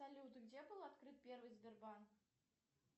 салют где был открыт первый сбербанк